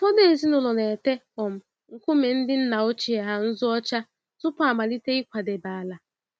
Ụfọdụ ezinụlọ n'ete um nkume ndị nna ochie ha nzụ ọcha tupu amalite ịkwadebe ala.